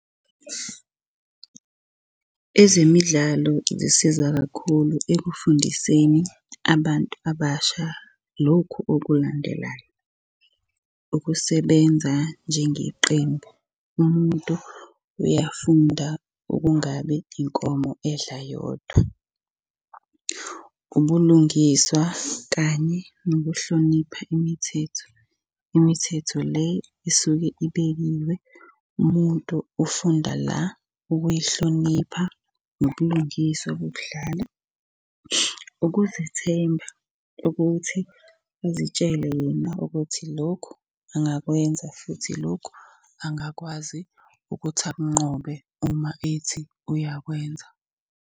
Ezemidlalo zisiza kakhulu ekufundiseni abantu abasha lokhu okulandelayo. Ukusebenza njengeqembu, umuntu uyafunda ukungabi inkomo edla yodwa. Ubulungiswa kanye nokuhlonipha imithetho, imithetho le isuke ibekiwe umuntu ufunda la ukuyihlonipha nobulungiswa bokudlala. Ukuzethemba ukuthi azitshele wena ukuthi lokhu angakwenza, futhi lokhu angakwazi ukuthi akunqobe uma ethi uyakwenza.